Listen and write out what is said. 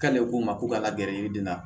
K'ale ko ma ko ka la gɛrɛ yiriden na